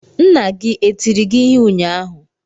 Nna gị e tiri gị ịhe unyaahụ?